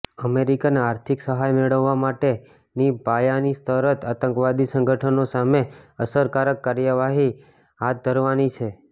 American આર્થિક સહાય મેળવવા માટેની પાયાની શરત આતંકવાદી સંગઠનો સામે અસરકારક કાર્યવાહી હાથ ધરવાની છે